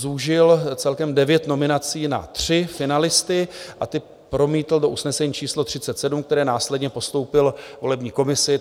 Zúžil celkem devět nominací na tři finalisty a ty promítl do usnesení číslo 37, které následně postoupil volební komisi.